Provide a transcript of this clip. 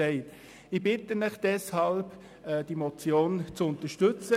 Ich bitte Sie, die Motion zu unterstützen.